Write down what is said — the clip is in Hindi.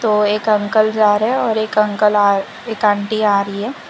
तो एक अंकल जा रहे और एक अंकल आ एक आंटी आ रही है।